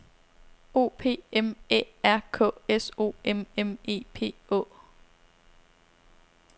O P M Æ R K S O M M E P Å